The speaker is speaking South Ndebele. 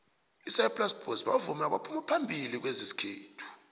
isaplasi boys bavumi abaphuma phambili kwezesikhethu